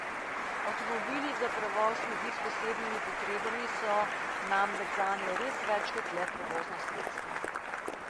Avtomobili za prevoz ljudi s posebnimi potrebami so namreč zanje res več kot le prevozno sredstvo.